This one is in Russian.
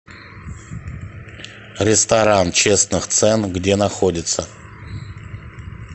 ресторан честных цен где находится